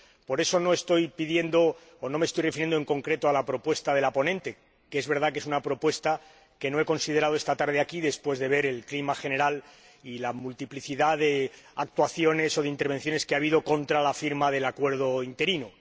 Por eso no me estoy refiriendo en concreto a la propuesta de la ponente, que es verdad que es una propuesta que no he considerado esta tarde aquí después de ver el clima general y la multiplicidad de actuaciones o de intervenciones que ha habido en contra de la firma del acuerdo interino.